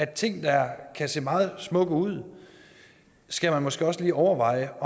ting der kan se meget smukke ud skal man måske også lige overveje